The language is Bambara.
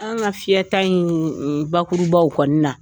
An ka fiyɛta in bakurubaw kɔni